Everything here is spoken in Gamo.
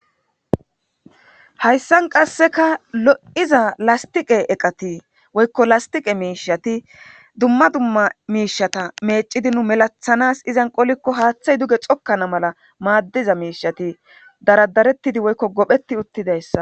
Haysan qaseka lo'iza lastiqe eqati woyko lastiqe mishati duma duma mishata mec'idi nu melatanas izan qoliko hathay duge xokana mala madiza mishati daradaretidi woyko gophetidi utidaysa.